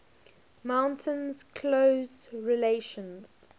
maintains close relations